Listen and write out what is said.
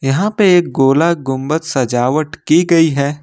यहा पे एक गोल गुंबद सजावट की गई है।